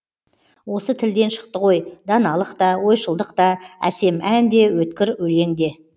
осы тілден шықты ғой даналық та ойшылдық та әсем ән де өткір өлең де